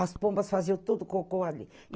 As pombas faziam todo o cocô ali.